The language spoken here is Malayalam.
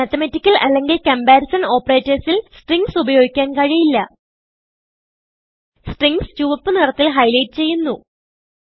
മാത്തമാറ്റിക്കൽ അല്ലെങ്കിൽ comparisonഓപ്പറേറ്റർസിൽ സ്ട്രിംഗ്സ് ഉപയോഗിക്കാൻ കഴിയില്ല Stringsചുവപ്പ് നിറത്തിൽ ഹൈലൈറ്റ് ചെയ്യുന്നു